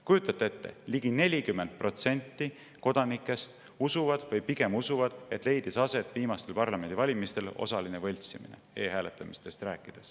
Kujutate ette: ligi 40% kodanikest usub või pigem usub, et viimastel parlamendivalimistel leidis aset osaline võltsimine e-hääletamise puhul.